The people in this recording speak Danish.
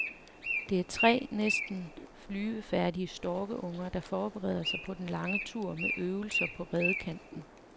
Det er tre næsten flyvefærdige storkeunger, der forbereder sig på den lange tur med øvelser på redekanten.